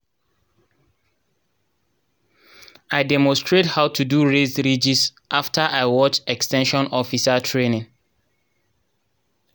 i demonstrate how to do raised ridges after i watch ex ten sion officer training.